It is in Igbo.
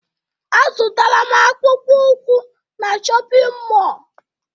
Azụtara m akpụkpọụkwụ na shọpịn mọọ